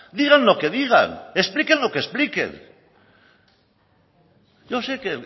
digan lo que digan expliquen lo que expliquen yo sé que